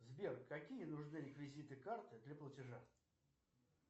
сбер какие нужны реквизиты карты для платежа